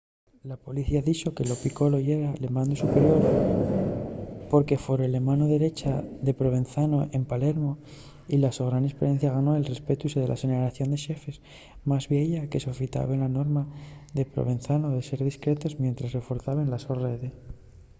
la policía dixo que lo piccolo yera'l mandu superior porque fore la mano derecha de provenzano en palermo y la so gran esperiencia ganó'l respetu de la xeneración de xefes más vieya que sofitaben la norma de provenzano de ser discretos mientres reforzaben la so rede